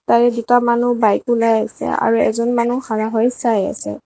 তাৰে দুটা মানুহ বাইক ওলাই আছে আৰু এজন মানুহ হৈ চাই আছে।